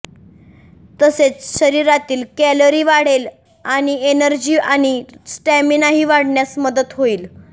तसेच शरीरातील कॅलरी वाढेल आणि एनर्जी आणि स्टॅमिनाही वाढण्यास मदत होईल